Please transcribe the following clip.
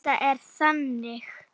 Þetta er þannig.